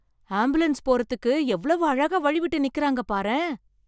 Ambulance போறதுக்கு எவ்வளவு அழகா வழி விட்டு நிக்குறாங்க பாரேன்!